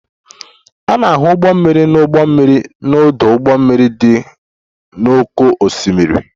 A na-ahụ ụgbọ mmiri na ụgbọ mmiri n'ọdụ ụgbọ mmiri dị n'oké osimiri.